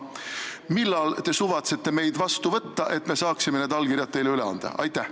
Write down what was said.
Millal te suvatsete meid vastu võtta, et me saaksime need allkirjad teile üle anda?